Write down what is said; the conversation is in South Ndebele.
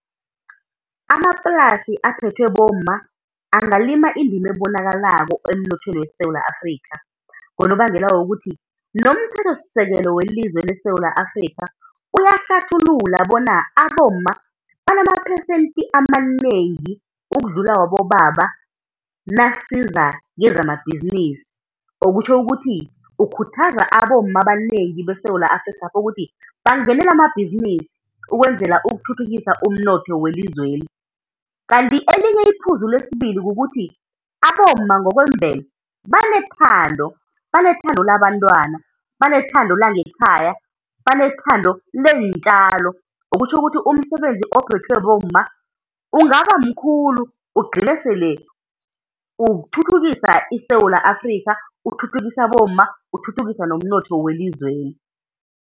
Amaplasi aphethwe bomma angalima indima ebonakalako emnothweni weSewula Afrika, ngonobangela wokuthi nomthethosisekelo welizwe leSewula Afrika uyahlathulula bona abomma banamaphesenthi amanengi ukudlula wabobaba nasiza kezamabhizinisi, okutjho ukuthi ukhuthaza abomma abanengi beSewula Afrikhapha ukuthi bangenele amabhizinisi ukwenzela ukuthuthukisa umnotho welizweli. Kanti elinye iphuzu lesibili kukuthi abomma ngokwemvelo banethando, banenthando labantwana, banethando langekhaya, banethando leentjalo. Kutjho ukuthi umsebenzi ophethwe bomma ungaba mkhulu ugcine sele uthuthukisa iSewula Afrikha, uthuthukise abomma, uthuthukise nomnotho welizweli.